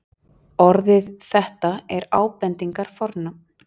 Orðið þetta er ábendingarfornafn.